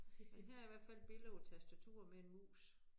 Men her er i hvert fald billede hvor tastatur med en mus